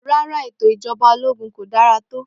Rárá ètò Ìjọba ológun kò dára tó.